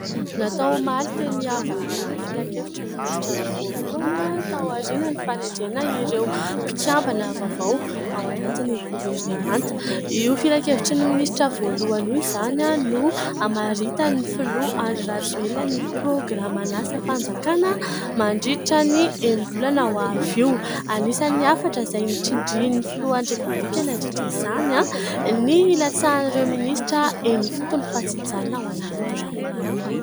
Natao omaly teny Iavoloha ny filan-kevitry ny minisitra voalohany taorian'ny fanendrena ireo mpikambana vaovao ao anatin'ny governemanta. Io filan-kevitry ny minisitra voalohany ho izany no hamaritan'ny filoha Andry Rajoelina ny prôgraman'asam-panjakana mandritra ny enim-bolana ho avy io. Anisan'ny hafatra izay notsindrin'ny filohan'ny repoblika nandritra izany ny hilatsahan'ireo minisitra eny ifotony fa tsy hijanona ao anaty birao.